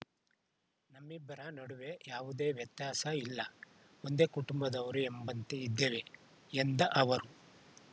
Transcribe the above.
ನಮ್ಮಿಬ್ಬರ ನಡುವೆ ಯಾವುದೇ ವ್ಯತ್ಯಾಸ ಇಲ್ಲ ಒಂದೇ ಕುಟುಂಬದವರು ಎಂಬಂತೆ ಇದ್ದೇವೆ ಎಂದ ಅವರು